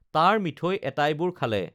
তাৰ মিঠৈ এটাইবোৰ খালে